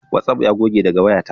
Watsaf ya goge daga wayanta